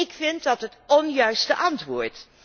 Ik vind dat het onjuiste antwoord.